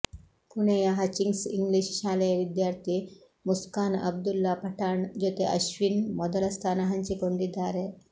ಪುಣೆಯ Hutchings English ಶಾಲೆಯ ವಿದ್ಯಾರ್ಥಿ ಮುಸ್ಕಾನ್ ಅಬ್ದುಲ್ಲಾ ಪಠಾಣ್ ಜೊತೆ ಅಶ್ವಿನ್ ಮೊದಲ ಸ್ಥಾನ ಹಂಚಿಕೊಂಡಿದ್ದಾರೆ